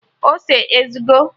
Ose a ezugo?